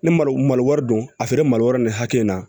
Ne mali wari don a feere mali wɛrɛ nin hakɛ in na